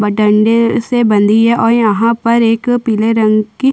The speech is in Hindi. बटंडे से बंधी है और यहाँ पर पिले रंग की--